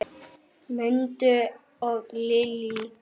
Mundi og Lillý.